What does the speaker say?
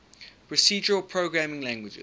procedural programming languages